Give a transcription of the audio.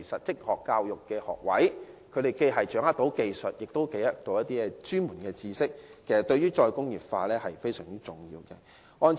職業教育學位能培訓掌握技術及專門知識的人才，對於"再工業化"非常重要。